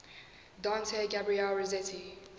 dante gabriel rossetti